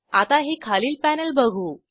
आता हे खालील पॅनेल बघू